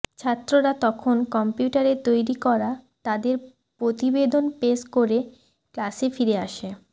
ছাত্ররা তখন কম্পিউটারে তৈরি করা তাদের প্রতিবেদন পেশ করে ক্লাসে ফিরে আসে